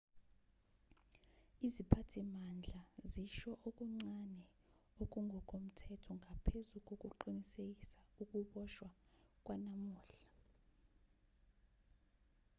iziphathimandla zisho okuncane okungokomthetho ngaphezu kokuqinisekisa ukuboshwa kwanamuhla